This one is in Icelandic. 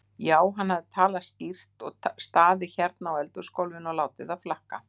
Já, hann hafði talað skýrt, staðið hérna á eldhúsgólfinu og látið það flakka.